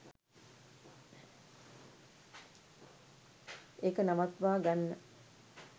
ඒක නවත්වා ගන්න